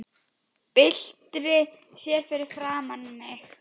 Byltir sér fyrir framan mig.